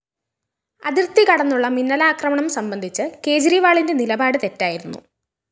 അതിര്‍ത്തി കടന്നുള്ള മിന്നലാക്രമണം സംബന്ധിച്ച് കേജ്‌രിവാളിന്റെ നിലപാട് തെറ്റായിരുന്നു